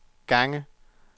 asterisk